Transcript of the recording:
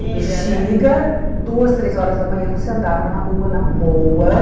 Bixiga, duas, três horas da manhã você andava na rua, na boa.